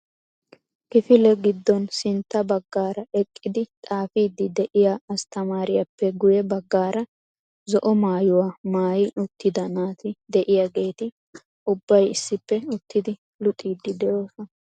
Kifile giddon sintta baggaara eqqidi xaafidi de'iyaa asttamariyappe guyye baggaara zo"o mmaayyuwa maayyi uttida naati de'iyaageeti ubbay issippe uttidi luxxidi de'oosona.